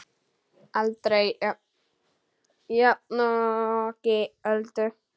Aldrei jafnoki Öldu.